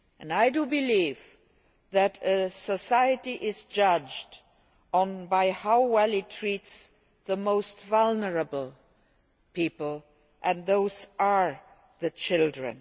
I believe that a society is judged by how well it treats the most vulnerable people, and those are children.